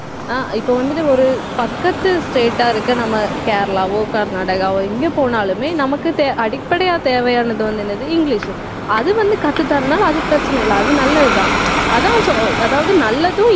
ஆஹ் இப்ப வந்துட்டு ஒரு பக்கத்து state ஆ இருக்கு நம்ம கேரளாவோ, கர்நாடகாவோ, எங்க போனாலுமே நமக்கு தேவ~ அடிப்படையா தேவையானது வந்து, என்னது இங்கிலிஷு அது வந்து, கத்து தர்றதுனால அது பிரச்சனை இல்லை அது நல்லதுதான் அதுதான் so அதாவது நல்லதும்